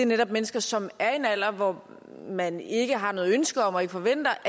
netop mennesker som er i en alder hvor man ikke har noget ønske om og ikke forventes